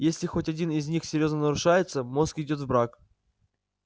если хоть один из них серьёзно нарушается мозг идёт в брак